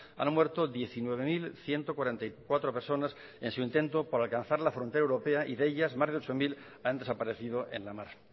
han muerto diecinueve mil ciento cuarenta y cuatro personas en su intento por alcanzar la frontera europea y de ellas más de ocho mil han desaparecido en la mar